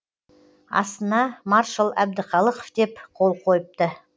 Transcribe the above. астына маршал әбдіқалықов деп қол қойыпты